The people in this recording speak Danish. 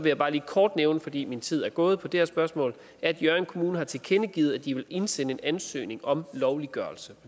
jeg bare lige kort nævne fordi min tid er gået på det her spørgsmål at hjørring kommune har tilkendegivet at de vil indsende en ansøgning om lovliggørelse